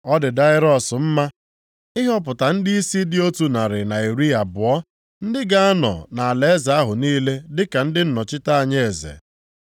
Ọ dị Daraiọs mma ịhọpụta ndịisi dị otu narị na iri abụọ, ndị ga-anọ nʼalaeze ahụ niile dịka ndị nnọchite anya eze.